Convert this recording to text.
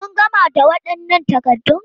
Kun gama da waɗannan takaddun?